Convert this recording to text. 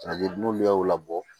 n'olu y'o labɔ